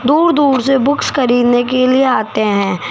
दूर दूर से बुक्स खरीदने के लिए आते है।